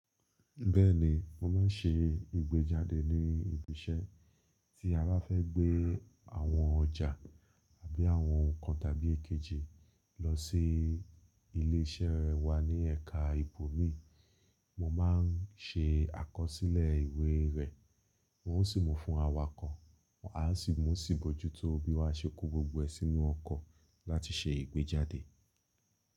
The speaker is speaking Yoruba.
Bẹ́ẹ̀ni, mo máa ń ṣe ìgbẹ́jáde ní ibi iṣẹ́. Tí a bá fẹ́ gbé àwọn ọjà àbí àwọn nǹkan tàbí èkejì lọ sí ilé iṣẹ́ wa ní ẹka ìbò mi, mo má a ń ṣe àkọsílẹ̀ ìwé rẹ̀. Wọn ó sì mú fún awakọ̀, a ó sì mú sì bójú tó bí wá ṣe kó gbogbo ẹṣinú ọkọ̀ láti ṣe ìgbẹ́jáde.